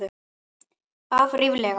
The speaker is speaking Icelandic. Af ríflega